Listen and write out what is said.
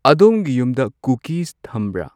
ꯑꯗꯣꯝꯒꯤ ꯌꯨꯝꯗ ꯀꯨꯀꯤꯁ ꯊꯝꯕ꯭ꯔꯥ ?